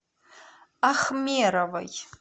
ахмеровой